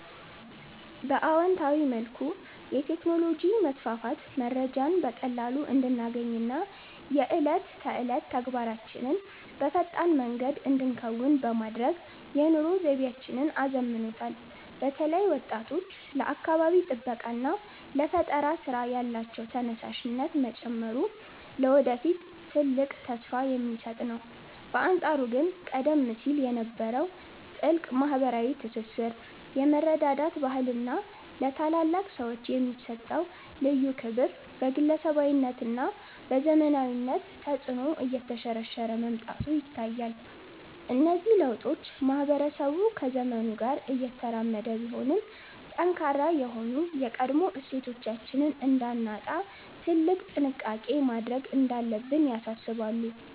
በአዎንታዊ መልኩ፣ የቴክኖሎጂ መስፋፋት መረጃን በቀላሉ እንድናገኝና የዕለት ተዕለት ተግባራችንን በፈጣን መንገድ እንድንከውን በማድረግ የኑሮ ዘይቤያችንን አዘምኖታል። በተለይ ወጣቶች ለአካባቢ ጥበቃና ለፈጠራ ሥራ ያላቸው ተነሳሽነት መጨመሩ ለወደፊት ትልቅ ተስፋ የሚሰጥ ነው። በአንጻሩ ግን ቀደም ሲል የነበረው ጥልቅ ማኅበራዊ ትስስር፣ የመረዳዳት ባህልና ለታላላቅ ሰዎች የሚሰጠው ልዩ ክብር በግለሰባዊነትና በዘመናዊነት ተጽዕኖ እየተሸረሸረ መምጣቱ ይታያል። እነዚህ ለውጦች ማኅበረሰቡ ከዘመኑ ጋር እየተራመደ ቢሆንም፣ ጠንካራ የሆኑ የቀድሞ እሴቶቻችንን እንዳናጣ ትልቅ ጥንቃቄ ማድረግ እንዳለብን ያሳስባሉ።